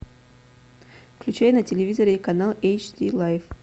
включай на телевизоре канал эйч ди лайф